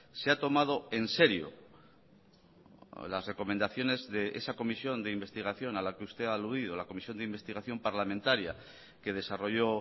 se ha tomado en serio las recomendaciones de esa comisión de investigación a la que usted ha aludido la comisión de investigación parlamentaria que desarrolló